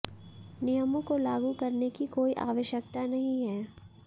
नियमों को लागू करने की कोई आवश्यकता नहीं है